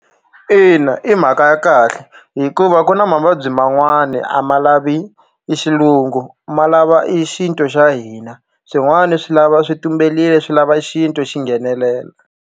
Kna i mhaka ya kahle hikuva ku na mavabyi man'wani a ma lavi i xilungu ma lava i xintu xa hina swin'wani swi lava swi tumberile swi lava xintu xi nghenelela.